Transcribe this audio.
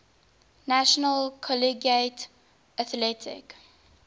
national collegiate athletic